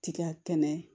Ti ka kɛnɛ